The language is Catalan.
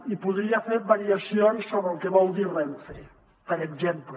i podria fer variacions sobre el que vol dir renfe per exemple